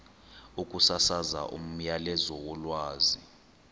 ukusasaza umyalezo wolwazi